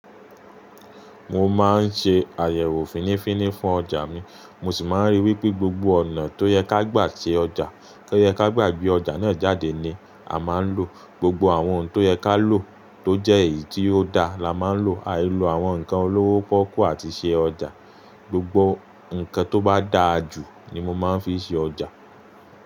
Mo máa ń ṣe àyẹ̀wò fínífíní fún ọjà mi, mo ṣì máa ń ríi wípé gbogbo ọ̀nà tó yẹ ká gba ṣe ọjà, tó yẹ ká gbà gbé ọjà náà jáde ni a máa ń lò. Gbogbo àwọn ohun tó yẹ ká lò tó jẹ́ èyí tí ó da la máa ń lò. Àìló àwọn ǹkan olówó pọ́kú àti ṣe ọjà, gbogbo ǹkan tó bá dáa jù ni mo máa ń fi ṣe ọjà.